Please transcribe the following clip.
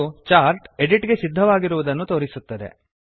ಇದು chart edit ಬದಲಾವಣೆಗೆ ಸಿದ್ಧವಾದ ಗೆ ಸಿದ್ಧವಾಗಿರುದನ್ನು ತೋರಿಸುತ್ತದೆ